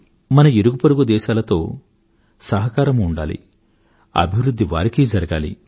మన ఇరుగుపొరుగు దేశాలతో సహకారమూ ఉండాలి అభివృధ్ధి వారికీ జరగాలి